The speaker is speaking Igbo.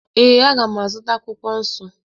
Ee, m ga-azụta akwụkwọ nsọ.